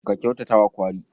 Ka kyautata wa kwari.